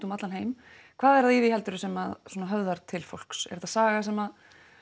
um allan heim hvað er það heldurðu sem höfðar til fólks er þetta saga sem